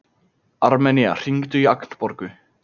Armenía, hringdu í Agnborgu.